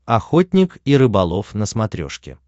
охотник и рыболов на смотрешке